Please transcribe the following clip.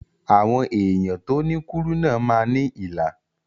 Àwọn èèyàn tó ní kúrúnà máa ní ilà